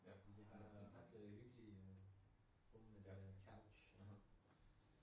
Jeg har haft øh hyggelige stole der couch